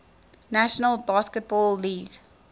national basketball league